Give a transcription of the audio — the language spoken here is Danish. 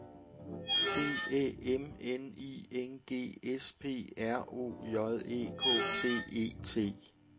D Æ M N I N G S P R O J E K T E T